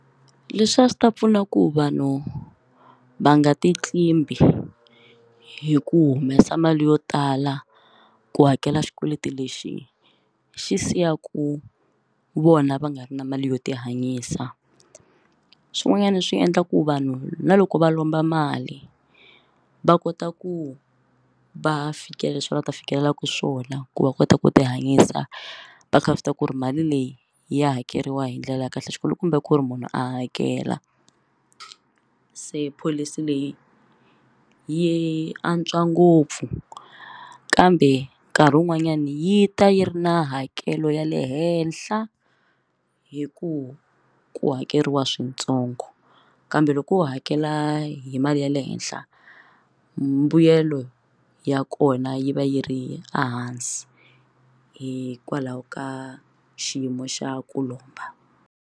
Leswi a swi ta pfuna ku vanhu va nga ti tlimbi hi ku humesa mali yo tala ku hakela xikweleti lexi xi siyaka vona va nga ri na mali yo tihanyisa swin'wanyana swi endla ku vanhu na loko va lomba mali va kota ku va fikelela leswi va nga ta fikelelaka swona ku va kota ku ti hanyisa va kha va swi tiva ku ri mali leyi ya hakeriwa hi ndlela ya kahle xikulukumba ku ri munhu a hakela se pholisi leyi yi antswa ngopfu kambe nkarhi wun'wanyani yi ta yi ri na hakelo ya le henhla hi ku ku hakeriwa swintsongo kambe loko u hakela hi mali ya le henhla mbuyelo ya kona yi va yi ri ehansi hikwalaho ka xiyimo xa ku lomba.